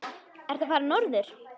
Ertu að fara norður?